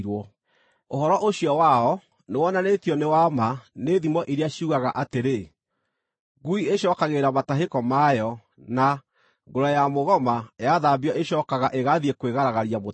Ũhoro ũcio wao, nĩwonanĩtio nĩ wa ma nĩ thimo iria ciugaga atĩrĩ: “Ngui ĩcookagĩrĩra matahĩko mayo,” na, “Ngũrwe ya mũgoma yathambio ĩcookaga ĩgathiĩ kwĩgaragaria mũtondo-inĩ.”